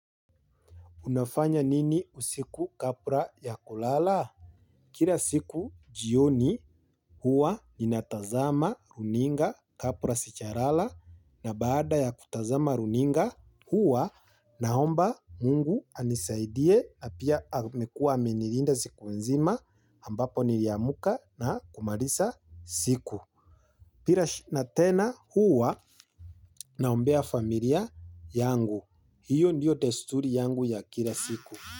Unafanya nini usiku kabla ya kulala? Kila siku jioni huwa nina tazama runinga kabla sijalala na baada ya kutazama runinga huwa naomba mungu anisaidie pia amekua amenilinda siku nzima ambapo niliamka na kumaliza siku. Pia na tena huwa naombea familia yangu. Hiyo ndiyo desturi yangu ya kila siku.